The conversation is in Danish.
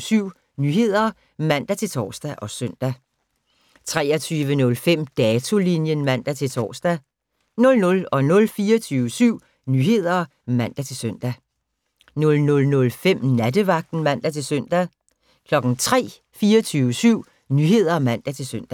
23:00: 24syv Nyheder (man-tor og søn) 23:05: Datolinjen (man-tor) 00:00: 24syv Nyheder (man-søn) 00:05: Nattevagten (man-søn) 03:00: 24syv Nyheder (man-søn)